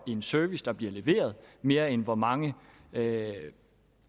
en service der bliver leveret mere end hvor mange